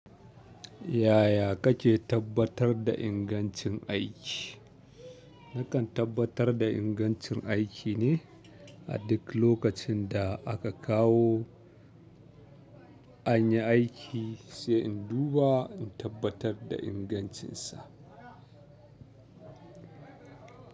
Yaya kake tabbatar da ingancin aiki? Nakan tabbatar da ingancin aiki ne a duk lokacin da aka kawo anyi aiki sai in duba in tabbatar da ingancinsa.